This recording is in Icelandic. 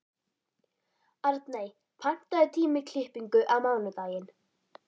Arney, pantaðu tíma í klippingu á mánudaginn.